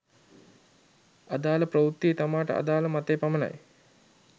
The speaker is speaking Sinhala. අදාළ ප්‍රවෘත්තියේ තමාට අදාළ මතය පමණයි